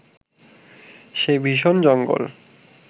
সেই ভীষণ জঙ্গল